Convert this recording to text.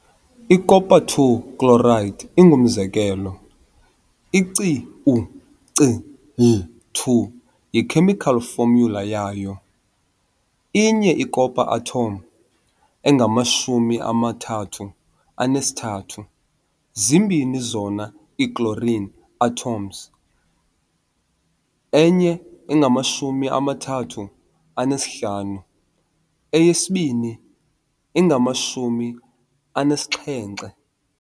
I-Copper-II chloride ingumzekelo. i-CuCl2 yi-chemical formula yayo. Inye i-copper atom 63.55 zimbini zona ii-chlorine atoms 35.45, 2 70.90.